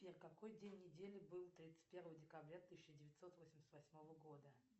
сбер какой день недели был тридцать первого декабря тысяча девятьсот восемьдесят восьмого года